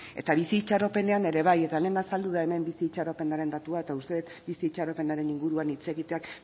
eta bizi itxaropenean ere bai eta hemen azaldu da hemen bizi itxaropenaren datua eta uste dut bizi itxaropenaren inguruan hitz egiteak